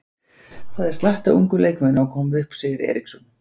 Það er slatti af ungum leikmönnum að koma upp, segir Eriksson.